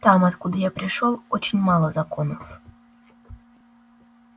там откуда я пришёл очень мало законов